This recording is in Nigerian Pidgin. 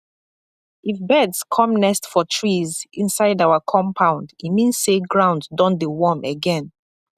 if birds come nest for trees inside our compound e mean say ground don dey warm again